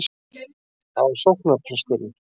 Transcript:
Það var sóknarpresturinn.